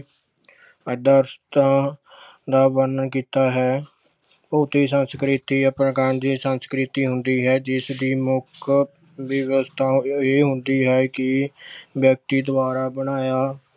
ਆਦਰਸਤਾਂ ਦਾ ਵਰਣਨ ਕੀਤਾ ਹੈ ਸੰਸਕ੍ਰਿਤੀ ਦੀ ਸੰਸਕ੍ਰਿਤੀ ਹੁੰਦੀ ਹੈ ਜਿਸ ਦੀ ਮੁੱਖ ਵਿਵਸਥਾ ਇਹ ਹੁੰਦੀ ਹੈ ਕਿ ਵਿਅਕਤੀ ਦੁਆਰਾ ਬਣਾਇਆ